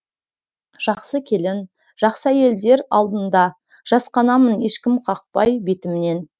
жақсы келін жақсы әйелдер алдында жасқанамын ешкім қақпай бетімнен